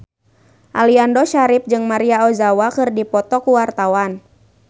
Aliando Syarif jeung Maria Ozawa keur dipoto ku wartawan